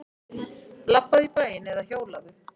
Labbaðu í bæinn eða hjólaðu.